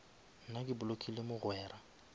nna ke blockile mogwera